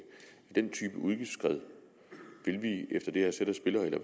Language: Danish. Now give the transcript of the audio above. den type udgiftsskred vil vi efter det her sæt af spilleregler